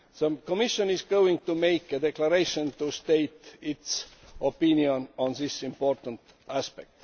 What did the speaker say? The Commission is going to make a declaration to state its opinion on this important aspect.